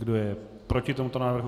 Kdo je proti tomuto návrhu?